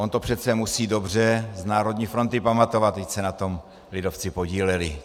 On to přece musí dobře z Národní fronty pamatovat, vždyť se na tom lidovci podíleli.